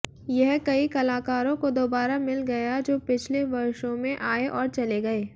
यह कई कलाकारों को दोबारा मिल गया जो पिछले वर्षों में आए और चले गए